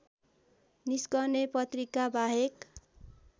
निस्कने पत्रिकाबाहेक